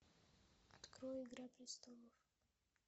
открой игра престолов